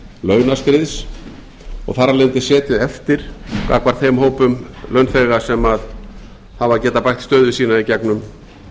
launaskriðs og þar af leiðandi setið eftir gagnvart þeim hópum launþega sem hafa getað bætt stöðu sína í gegnum